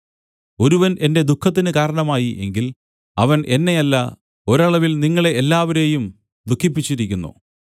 ഒരുവൻ എന്റെ ദുഃഖത്തിന് കാരണമായി എങ്കിൽ അവൻ എന്നെയല്ല ഒരളവിൽ ഞാൻ പരുഷമായി ഏറെ പറയരുതല്ലോ നിങ്ങളെ എല്ലാവരേയും ദുഃഖിപ്പിച്ചിരിക്കുന്നു